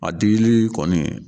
A digili kɔni